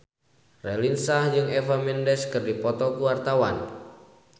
Raline Shah jeung Eva Mendes keur dipoto ku wartawan